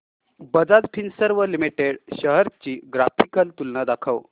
Bajaj Finserv Limited shares ची graphical तुलना दाखव